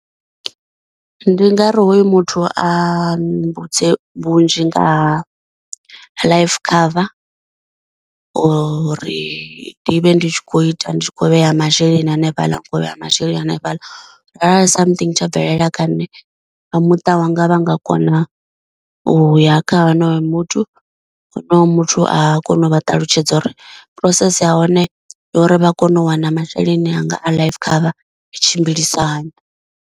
Ndi nga ri hoyu muthu a mmbudze vhunzhi nga ha life cover uri ndi vhe ndi tshi khou ita ndi tshi kho vhea masheleni hanefhaḽa ndi kho u vheya masheleni hanefhaḽa, arali something tsha bvelela kha nṋe vha muṱa wanga vha nga kona u ya kha honoyo muthu honoyo muthu a kona u vha ṱalutshedza uri process ha hone uri vha kone u wana masheleni anga a life cover tshimbilisahani.